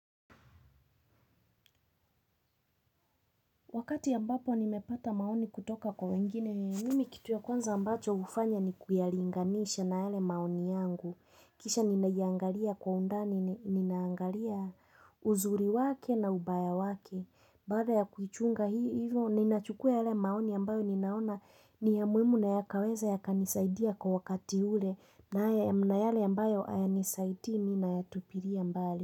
Wakati ya ambapo nimepata maoni kutoka kwa wengine, mimi kitu ya kwanza ambacho ufanya ni kuyalinganisha na yale maoni yangu. Kisha ninaangalia kwa undani, ninaangalia uzuri wake na ubaya wake. Baada ya kuchunga hivo, ninachukue hale maoni ambayo ninaona ni ya muhimu na yakaweza ya kanisaidia kwa wakati ule, na ya mnayale ambayo haya nisaidi mi na yatupiria mbali.